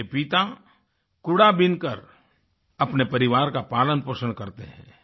उनके पिता कूड़ा बीनकर अपने परिवार का पालनपोषण करते हैं